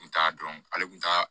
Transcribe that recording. N kun t'a dɔn ale tun t'a